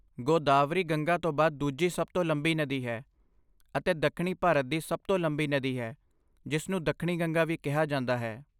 ਗੋਦਾਵਰੀ ਗੰਗਾ ਤੋਂ ਬਾਅਦ ਦੂਜੀ ਸਭ ਤੋਂ ਲੰਬੀ ਨਦੀ ਹੈ, ਅਤੇ ਦੱਖਣੀ ਭਾਰਤ ਦੀ ਸਭ ਤੋਂ ਲੰਬੀ ਨਦੀ ਹੈ ਜਿਸ ਨੂੰ 'ਦੱਖਣੀ ਗੰਗਾ' ਵੀ ਕਿਹਾ ਜਾਂਦਾ ਹੈ।